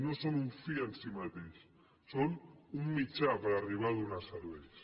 no són un fi en si mateix són un mitjà per arribar a donar serveis